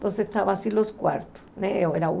Então, estavam assim os quartos, né? Era um era um